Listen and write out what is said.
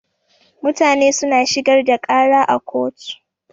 Mutane suna shigar da ƙara a kotu.